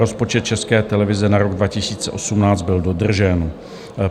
Rozpočet České televize na rok 2018 byl dodržen.